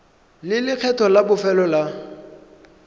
le lekgetho la bofelo la